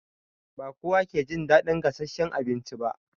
Ba kowa ke jin daɗin gasasshen abinci ba.